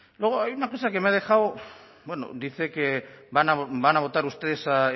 luego hay una cosa que me ha dejado bueno dice que van a votar ustedes